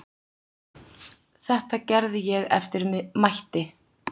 Þetta gerði ég eftir mætti.